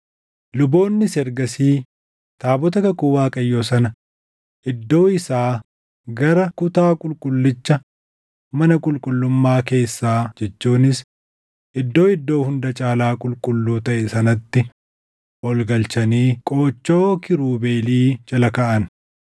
Luboonnis ergasii taabota kakuu Waaqayyoo sana iddoo isaa gara kutaa qulqullicha mana qulqullummaa keessaa jechuunis Iddoo Iddoo Hunda Caalaa Qulqulluu taʼe sanatti ol galchanii qoochoo kiirubeelii jala kaaʼan.